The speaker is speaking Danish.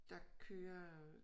Der kører øh